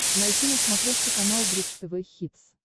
найти на смотрешке канал бридж тв хитс